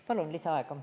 Palun lisaaega.